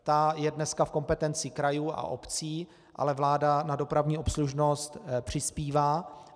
Ta je dneska v kompetenci krajů a obcí, ale vláda na dopravní obslužnost přispívá.